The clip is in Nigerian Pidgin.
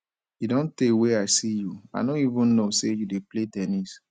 e don tey wey i see you i no even no say you dey play ten nis